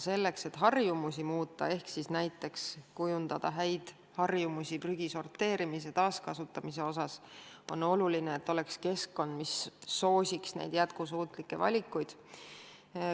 Selleks, et harjumusi muuta ja näiteks kujundada häid harjumusi prügi sorteerimise ja taaskasutamise osas, on aga oluline, et oleks keskkond, mis soosiks neid jätkusuutlikke valikuid.